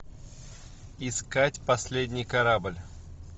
искать последний корабль